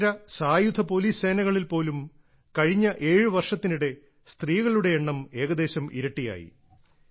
കേന്ദ്ര സായുധ പോലീസ് സേനകളിൽ പോലും കഴിഞ്ഞ ഏഴ് വർഷത്തിനിടെ സ്ത്രീകളുടെ എണ്ണം ഏകദേശം ഇരട്ടിയായി